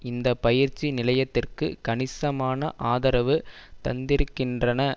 இந்த பயிற்சி நிலையத்திற்கு கணிசமான ஆதரவு தந்திருக்கின்றன